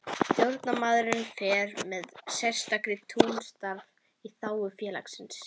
Stjórnarmaður fer með sérstakt trúnaðarstarf í þágu félagsins.